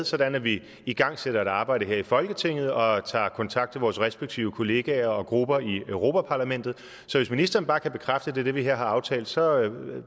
sådan at vi igangsætter et arbejde her i folketinget og tager kontakt til vores respektive kollegaer og grupper i europa parlamentet så hvis ministeren bare kan bekræfte at det er det vi her har aftalt så